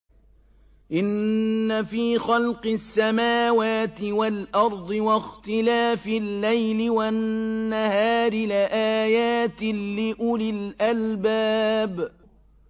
إِنَّ فِي خَلْقِ السَّمَاوَاتِ وَالْأَرْضِ وَاخْتِلَافِ اللَّيْلِ وَالنَّهَارِ لَآيَاتٍ لِّأُولِي الْأَلْبَابِ